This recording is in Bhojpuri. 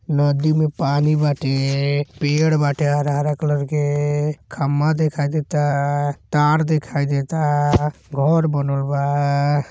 नदी में पानी बाटेपेड़ बाटे हरा-हरा कलर के खम्बा दिखाई देता तार दिखाई देता घर बनल बा।